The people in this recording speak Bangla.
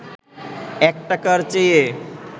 ১ টাকার চেয়ে